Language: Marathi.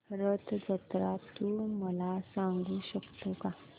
रथ जत्रा तू मला सांगू शकतो का